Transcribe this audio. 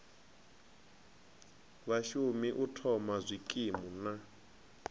vhashumi u thoma zwikimu na